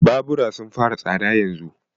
Babura sun fara tsada yanzun.